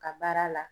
Ka baara la